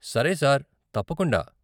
సరే సార్, తప్పకుండా.